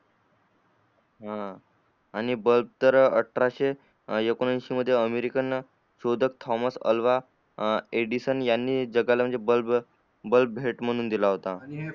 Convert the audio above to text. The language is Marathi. अं आणि बल्ब तर अठराशे एकनिशे मध्ये अमेरिकन शोधक थोमान अलंगा एडिसन यांनी म्हणजे जगाला बल्ब बल्ब भेट म्हणून दिला होता